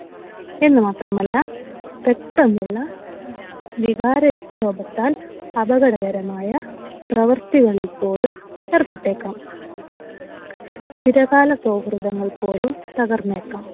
എന്നുമാത്രമല്ല പെട്ടെന്നുള്ള വികാരവിക്ഷോഭത്താൽ അപകടകരമായ പ്രവർത്തികളിൽ പോലും ഏർപ്പെട്ടേക്കാം. ചിരകാല സൗഹൃദങ്ങൾ പോലും തകർന്നേക്കാം.